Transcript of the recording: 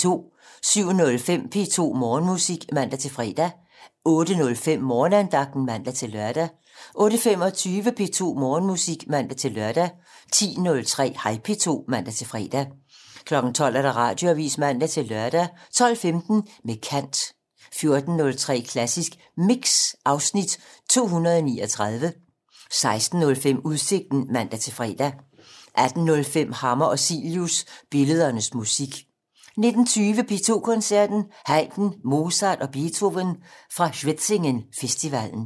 07:05: P2 Morgenmusik (man-fre) 08:05: Morgenandagten (man-lør) 08:25: P2 Morgenmusik (man-lør) 10:03: Hej P2 (man-fre) 12:00: Radioavisen (man-lør) 12:15: Med kant 14:03: Klassisk Mix (Afs. 239) 16:05: Udsigten (man-fre) 18:05: Hammer og Cilius - Billedernes musik 19:20: P2 Koncerten - Haydn, Mozart og Beethoven fra Schwetzingen festivalen